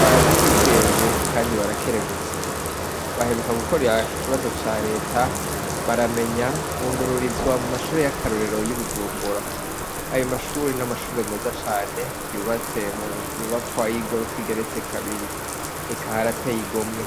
baraciye ubwenge kandi barakerebutse, baheruka gukora ikibazo ca Reta baramenya, bungururizwa mu mashure y'akarorero y'i Bujumbura, ayo mashure n'amashure meza cane yubatse mu nyubakwa y'igorofa igeretse kabiri, reka harateye igomwe.